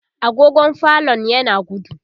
agogon falon yana gudu